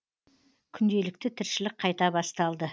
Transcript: күнделікті тіршілік қайта басталды